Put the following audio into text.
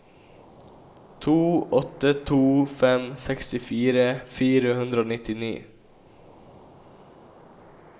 to åtte to fem sekstifire fire hundre og nittini